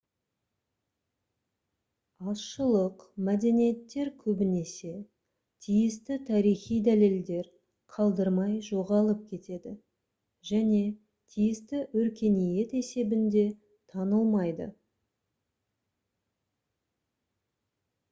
азшылық мәдениеттер көбінесе тиісті тарихи дәлелдер қалдырмай жоғалып кетеді және тиісті өркениет есебінде танылмайды